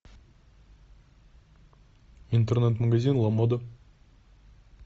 интернет магазин ла мода